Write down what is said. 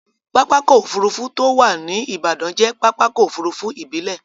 Pápákọ̀ òfurufú tó wà ní Ìbàdàn jẹ́ pápákọ̀ òfurufú ìbílẹ̀.